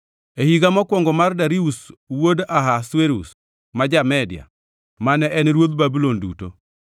E higa mokwongo mar Darius wuod Ahasuerus (ma ja-Media), mane en ruodh Babulon duto,